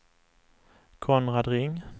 Konrad Ring